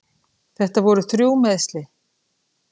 Þetta voru þrjú meiðsli.